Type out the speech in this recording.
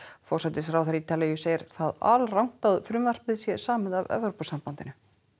forsætisráðherra Ítalíu segir það alrangt að frumvarpið sé samið af Evrópusambandinu